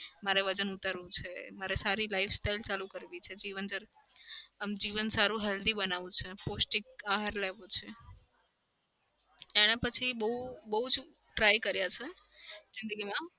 મારે વજન ઉતારવું છે. મારે સારી life style ચાલુ કરવી છે. જીવન આમ જીવન સારું healthy બનાવું છે. પોષ્ટિક આહાર લેવો છે. એના પછી બઉ બઉ જ try કરયા છે જિંદગીમાં.